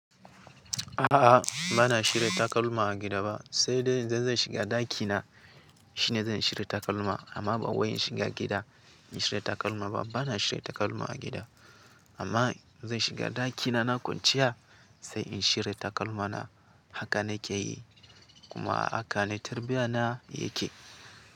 A'a, ba na shirya takalma a gida ba, sai dai idan zan shiga ɗakina shine zan shirya takalma. Amma ba wai in shiga gida in shirya takalma ba. Ba na shirya takalma a gida, amma zan shiga ɗakina na kwanciya sai in shirya takalmana haka na ke yi kuma haka ne tarbiyya na yake.